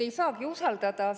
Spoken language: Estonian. Ei saagi usaldada.